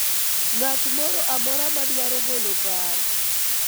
ng'at moro amora madwaro golo paro ?